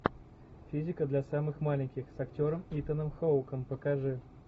физика для самых маленьких с актером итаном хоуком покажи